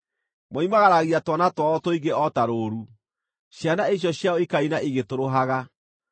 Moimagaragia twana twao tũingĩ o ta rũũru; ciana icio ciao ikaina igĩtũrũhaga.